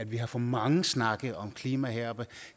vi har for mange snakke om klima her